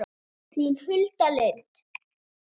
Þín Hulda Lind.